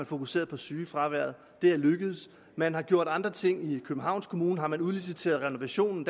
fokuseret på sygefraværet og det er lykkedes man har gjort andre ting i københavns kommune hvor man har udliciteret renovationen